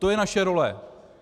To je naše role.